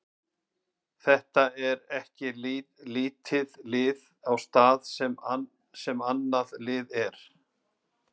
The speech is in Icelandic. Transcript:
Þetta er ekki lítið lið á stað þar sem annað lið er.